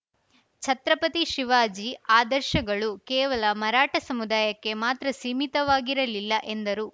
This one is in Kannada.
ಛತ್ರಪತಿ ಶಿವಾಜಿ ಆದರ್ಶಗಳು ಕೇವಲ ಮರಾಠ ಸಮುದಾಯಕ್ಕೆ ಮಾತ್ರ ಸೀಮಿತವಾಗಿರಲಿಲ್ಲ ಎಂದರು